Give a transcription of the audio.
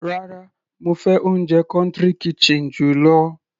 Rárá, mo fẹ́ oúnjẹ country kitchen jù lọ.